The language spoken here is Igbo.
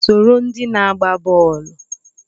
Soro ndị na-agba bọọlụ!